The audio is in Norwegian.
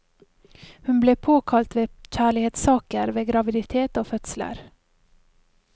Hun ble påkalt ved kjærlighetssaker, ved graviditet og fødsler.